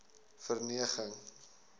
verneging